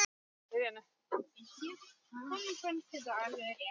Honum fannst þetta alveg rétt.